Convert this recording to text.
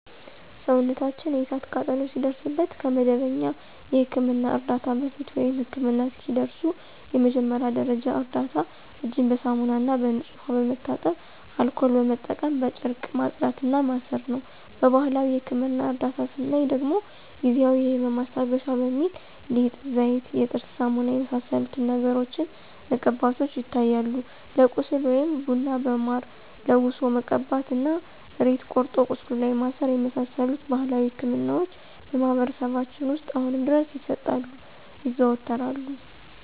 ሰውነታችን የእሳት ቃጠሎ ሲደርስበት ከመደበኛ የሕክምና ዕርዳታ በፊት፣ ወይም ህክምና እስኪደርሱ የመጀመሪያ ደረጃ እርዳታ እጅን በሳሙናና በንጹህ ውሃ በመታጠብ አልኮል በመጠቀም በጨርቅ ማጽዳት እና ማሰር ነው። በባህላዊ የህክምና እርዳታ ስናይ ደግሞ ጊዜአዊ የህመም ማስታገሻ በሚል ሊጥ፣ ዘይት፣ የጥርስ ሳሙና የመሳሰሉትን ነገሮችን መቀባቶች ይታያሉ። ለቁስል ደግሞ ቡና በማር ለውሶ መቀባት እና ሬት ቆርጦ ቁስሉ ላይ ማሰር የመሳሰሉት ባህላዊ ህክምናዎች በማህበረሰባችን ውስጥ አሁንም ድረስ ይሰጣሉ (ይዘወተራሉ)።